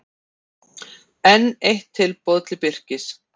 Enn eitt tilboð til Birkis